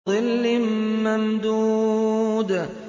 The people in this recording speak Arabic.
وَظِلٍّ مَّمْدُودٍ